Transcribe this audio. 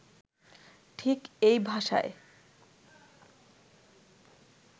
ঠিক এই ভাষায়